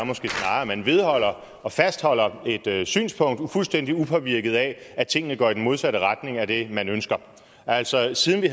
at man vedholder og fastholder et synspunkt fuldstændig upåvirket af at tingene går i den modsatte retning af det man ønsker altså siden vi